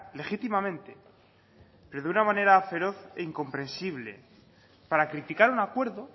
legítimamente desde una manera feroz e incomprensible para criticar un acuerdo